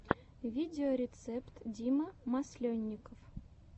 видеорецепт дима масленников